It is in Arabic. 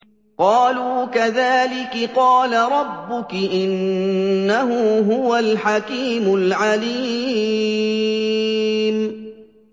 قَالُوا كَذَٰلِكِ قَالَ رَبُّكِ ۖ إِنَّهُ هُوَ الْحَكِيمُ الْعَلِيمُ